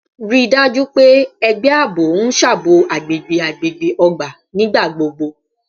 Rii daju pe ẹgbẹ aabo n ṣabọ agbegbe agbegbe ogba nigbagbogbo